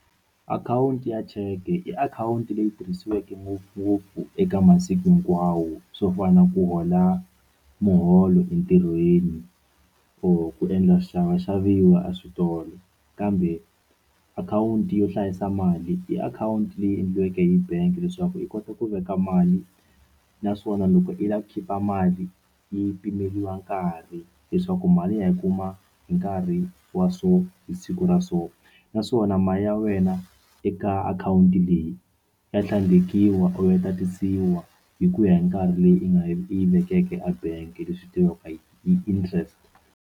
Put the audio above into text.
Akhawunti ya cheke i akhawunti leyi tirhisiweke ngopfungopfu eka masiku hinkwawo swo fana na ku hola muholo entirhweni or ku endla swixavaxaviwani a switolo kambe akhawunti yo hlayisa mali i akhawunti leyi endliweke hi bank leswaku yi kota ku veka mali naswona loko i lava ku khipha mali yi pimeriwa nkarhi leswaku mali ya yi kuma hi nkarhi wa so hi siku ra so naswona mali ya wena eka akhawunti leyi ya tlhandlekiwa or tatisiwa hi ku ya hi nkarhi leyi u nga yi u yi vekeke a bank leswi tiviwaka hi yi interest.